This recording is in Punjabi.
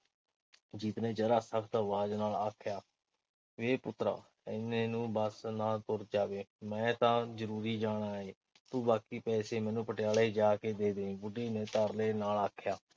ਜੀਤ ਨੇ ਜ਼ਰਾ ਸਖਤ ਆਵਾਜ਼ ਨਾਲ ਆਖਿਆ। ਵੇ ਪੁੱਤਰਾ, ਇਨੇ ਨੂੰ ਬੱਸ ਨਾ ਤੁਰ ਜਾਵੇ। ਮੈਂ ਤਾਂ ਜ਼ਰੂਰੀ ਜਾਣਾ ਏ। ਤੂੰ ਬਾਕੀ ਪੈਸੇ ਮੈਨੂੰ ਪਟਿਆਲੇ ਜਾ ਕੇ ਦੇ ਦੇਈਂ। ਬੁੱਢੀ ਨੇ ਤਰਲੇ ਨਾਲ ਆਖਿਆ।